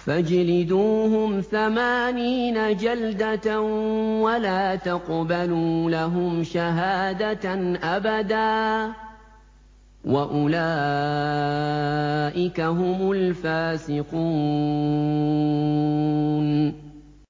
فَاجْلِدُوهُمْ ثَمَانِينَ جَلْدَةً وَلَا تَقْبَلُوا لَهُمْ شَهَادَةً أَبَدًا ۚ وَأُولَٰئِكَ هُمُ الْفَاسِقُونَ